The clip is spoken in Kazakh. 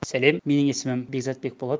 сәлем менің есімім бекзатбек болады